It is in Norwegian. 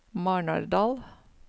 Marnardal